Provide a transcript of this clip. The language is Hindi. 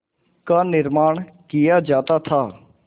का निर्माण किया जाता था